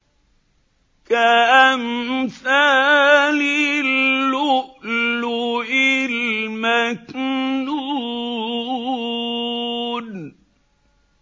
كَأَمْثَالِ اللُّؤْلُؤِ الْمَكْنُونِ